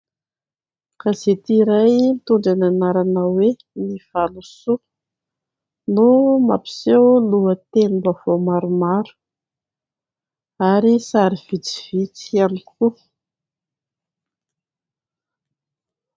Gazety iray mitondra ny anarana hoe "ny valosoa" no mampiseho lohatenim-baovao maromaro ary sary vitsivitsy ihany koa.